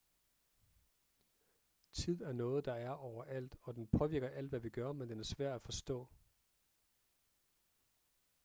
tid er noget der er overalt og den påvirker alt hvad vi gør men den er svær at forstå